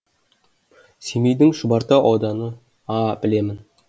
семейдің шұбартау ауданы аа білемін